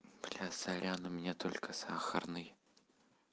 блядь сорян у меня только сахарный